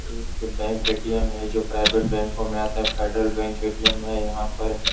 एक bank ATM. है जो प्राइवेट बैंको में आता है | फ़ेडरल बैंक ए.टी.एम. है यहाँ पर |